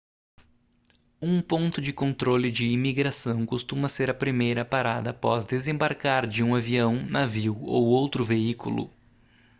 um ponto de controle de imigração costuma ser a primeira parada após desembarcar de um avião navio ou outro veículo